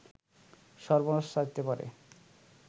সর্বনাশ চাইতে পারে